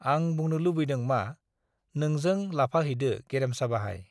आं बुंनो लुबैदों मा-नोंजों लाफाहैदो गेरेमसा बाहाइ।